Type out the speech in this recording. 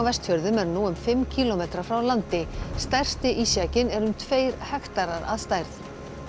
Vestfjörðum er nú um fimm kílómetra frá landi stærsti ísjakinn er um tveir hektarar að stærð